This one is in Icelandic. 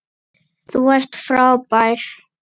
Þú ert frábær.